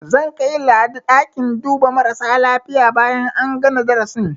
Zan kai Ladi ɗakin duba marasa lafiya bayan an gana darasin.